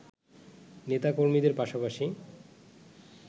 নেতা-কর্মীদের পাশাপাশি